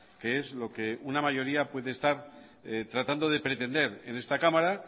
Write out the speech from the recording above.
que es lo que una mayoría puede estar tratando de pretender en esta cámara